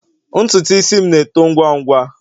ntutu isi m na-eto ngwa ngwa